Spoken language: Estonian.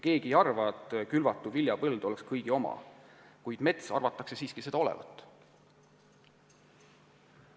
Keegi ei arva, et külvatud viljapõld oleks kõigi oma, kuid mets arvatakse seda siiski olevat.